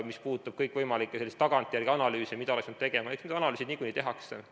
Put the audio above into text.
Mis puudutab kõikvõimalikke tagantjärele analüüse, mida oleks pidanud tegema, siis eks need analüüsid nagunii tehakse.